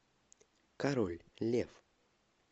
король лев